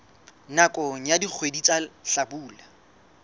nakong ya dikgwedi tsa hlabula